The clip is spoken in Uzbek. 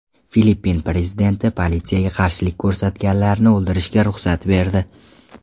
Filippin prezidenti politsiyaga qarshilik ko‘rsatganlarni o‘ldirishga ruxsat berdi.